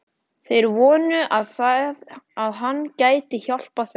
Þeir vonuðu, að hann gæti hjálpað þeim.